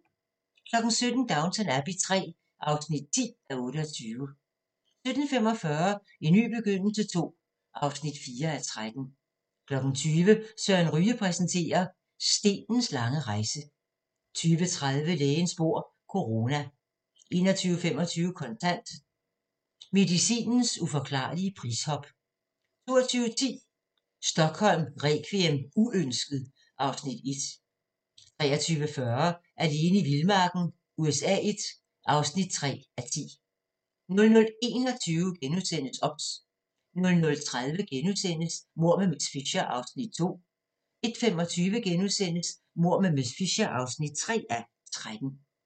17:00: Downton Abbey III (10:28) 17:45: En ny begyndelse II (4:13) 20:00: Søren Ryge præsenterer – Stenens lange rejse 20:30: Lægens bord - corona 21:25: Kontant: Medicinens uforklarlige prishop 22:10: Stockholm requiem: Uønsket (Afs. 1) 23:40: Alene i vildmarken USA I (3:10) 00:21: OBS * 00:30: Mord med miss Fisher (2:13)* 01:25: Mord med miss Fisher (3:13)*